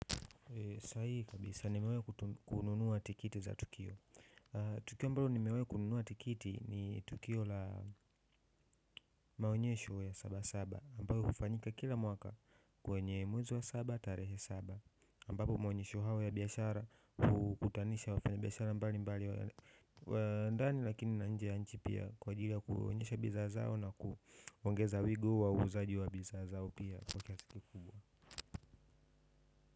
Sahihi kabisa nimewahi kununua tikiti za tukio tukio ambalo nimewahi kununua tikiti ni tukio la maonyesho ya saba saba ambalo hufanyika kila mwaka kwenye mwezi wa saba tarehe saba, ambapo maonyesho hayo ya biashara hukutanisha wafanya biashara mbali mbali wa ndani lakini na nje ya nchi pia kwa ajili ya kuonyesha bidhaa zao na kuongeza wigo wa uuzaji wa bidhaa zao pia.